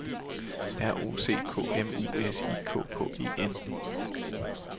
R O C K M U S I K K E N